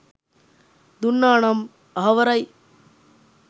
දුන්නා නම් අහවරයි